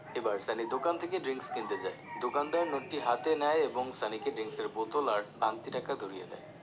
এবার সানি দোকান থেকে drinks কিনতে যায় দোকানদার নোটটি হাতে নেয় এবং সানিকে drinks বোতল আর ভাঙ্গতি টাকা ধরিয়ে দেয়